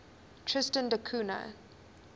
tristan da cunha